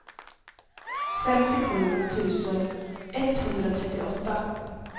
femtiosju tusen etthundratrettioåtta